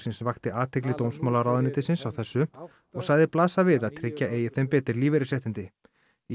vakti athygli dómsmálaráðuneytisins á þessu og sagði blasa við að tryggja eigi þeim betri lífeyrisréttindi í